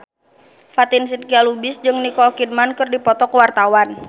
Fatin Shidqia Lubis jeung Nicole Kidman keur dipoto ku wartawan